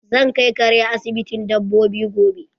Zan kai kare asibitin dabbobi gobe